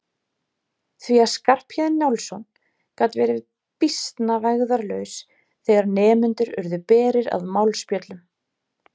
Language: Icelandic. Því að Skarphéðinn Njálsson gat verið býsna vægðarlaus þegar nemendur urðu berir að málspjöllum.